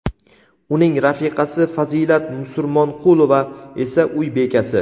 uning rafiqasi Fazilat Musurmonqulova esa uy bekasi.